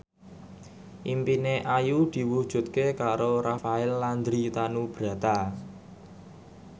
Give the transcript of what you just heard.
impine Ayu diwujudke karo Rafael Landry Tanubrata